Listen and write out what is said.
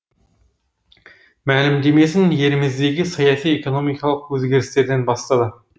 мәлімдемесін еліміздегі саяси экономикалық өзгерістерден бастады